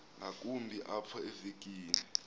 ngakumbi apha evekini